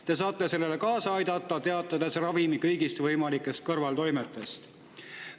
Te saate sellele kaasa aidata, teatades ravimi kõigist võimalikest kõrvaltoimetest.